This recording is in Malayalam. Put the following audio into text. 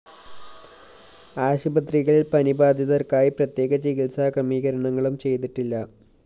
ആശുപത്രികളില്‍ പനി ബാധിതര്‍ക്കായി പ്രത്യേക ചികിത്സാ ക്രമീകരണങ്ങളും ചെയ്തിട്ടില്ല